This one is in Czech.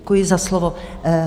Děkuji za slovo.